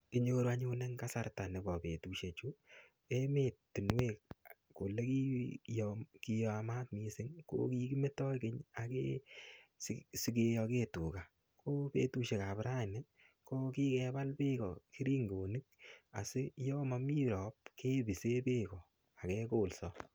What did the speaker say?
Inyoru anyun eng kasarta nebo betusiechu, emetinwek ole gii kiyamat mising ko kigimetoi kenysige, sigiyoge tuga. Ko betusiekab raani ko kigebal beekab keringonik si yomami rop kepisen beekak kegolso.